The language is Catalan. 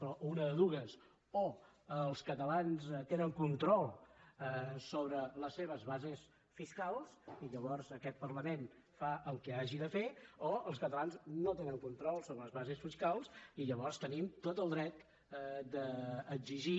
però una de dues o els catalans tenen control sobre les seves bases fiscals i llavors aquest parlament fa el que hagi de fer o els catalans no tenen control sobre les bases fiscals i llavors tenim tot el dret d’exigir